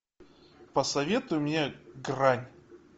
посоветуй мне грань